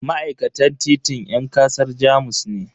Ma'aikatan titin yan kasar Jamus ne.